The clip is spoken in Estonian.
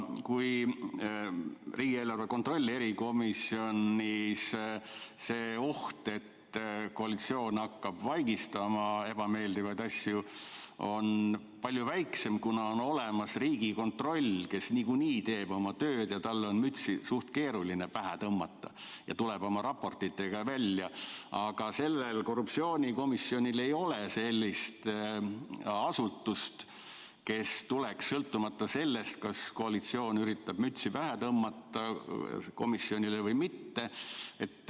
Riigieelarve kontrolli erikomisjonis on see oht, et koalitsioon hakkab vaigistama ebameeldivaid asju, palju väiksem, kuna on olemas Riigikontroll, kes niikuinii teeb oma tööd ja talle on mütsi suht keeruline pähe tõmmata, ta tuleb oma raportitega välja, aga sellel korruptsioonikomisjonil ei ole sellist asutust, kes tuleks, sõltumata sellest, kas koalitsioon üritab komisjonile mütsi pähe tõmmata või mitte.